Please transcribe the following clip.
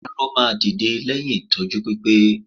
Arọ máa dìde lẹ́yìn ìtọ́jú pípé